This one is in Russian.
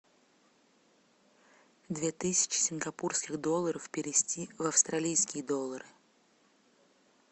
две тысячи сингапурских долларов перевести в австралийские доллары